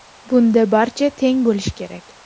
Bunda barcha teng bo‘lishi kerak.